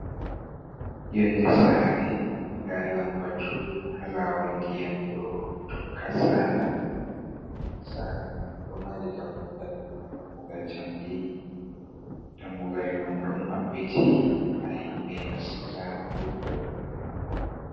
Yonde sare nda lambatu ha lawol ndiyam do tokka sala sare man ɗo mari dammugal dammugal jamdi dammugal man ɗo mabbiti ha himɓe nasta wurtura.